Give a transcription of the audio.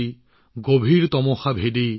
আগুৰি ধৰা আন্ধাৰক নাশিবলৈ